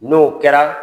N'o kɛra